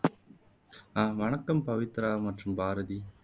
அஹ் வணக்கம் பவித்ரா மற்றும் பாரதி